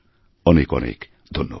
অনেক অনেক ধন্যবাদ